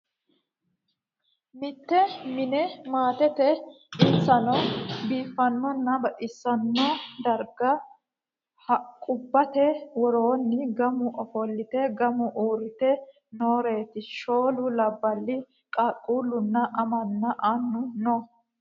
Mitte mini maatteti insano biifanona baxxisano darrigga haqubbate woronni gamu offolitte gamu uritte nooreti shoolu labbali qaaqquluna amanna annu noo